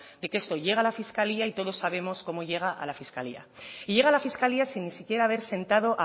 de que esto llega la fiscalía y todos sabemos cómo llega a la fiscalía y llega la fiscalía sin ni siquiera haber sentado